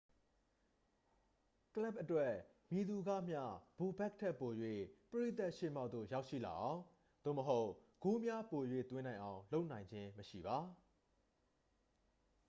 ကလပ်အတွက် မည်သူကမျှ ဘိုဘက်ခ် ထက်ပို၍ ပရိသတ်ရှေ့မှောက်သို့ ရောက်ရှိလာအောင် သို့မဟုတ် ဂိုးများပို၍သွင်းနိုင်အောင် လုပ်ဆောင်နိုင်ခြင်းမရှိပါ